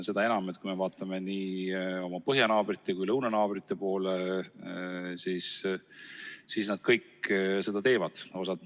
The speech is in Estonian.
Seda enam, et kui me vaatame oma põhjanaabrite ja lõunanaabrite poole, siis nemad seda teevad.